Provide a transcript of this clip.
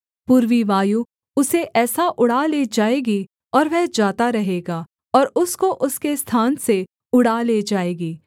पूर्वी वायु उसे ऐसा उड़ा ले जाएगी और वह जाता रहेगा और उसको उसके स्थान से उड़ा ले जाएगी